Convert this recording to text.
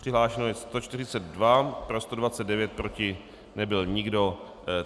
Přihlášeno je 142, pro 129, proti nebyl nikdo.